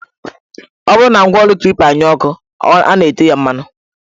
Ọ bụrụ na ngwaọrụ Klipa anyụọ nkọ, a na-ete ya mmanụ